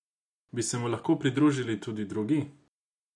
Bi se mu lahko pridružili tudi drugi?